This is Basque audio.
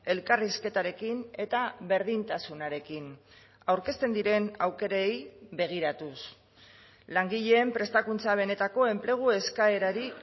elkarrizketarekin eta berdintasunarekin aurkezten diren aukerei begiratuz langileen prestakuntza benetako enplegu eskaerari